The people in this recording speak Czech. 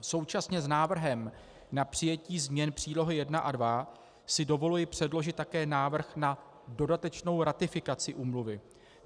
Současně s návrhem na přijetí změn příloh I a II si dovoluji předložit také návrh na dodatečnou ratifikaci úmluvy.